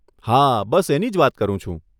હા બસ એની જ વાત કરું છું.